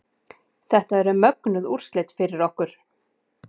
Þetta eru mögnuð úrslit fyrir okkur